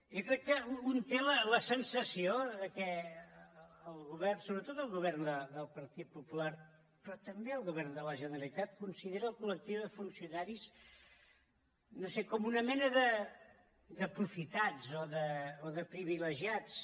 jo crec que un té la sensació que el govern sobretot el govern del partit popular però també el govern de la generalitat considera el col·lectiu de funcionaris no ho sé com una mena d’aprofitats o de privilegiats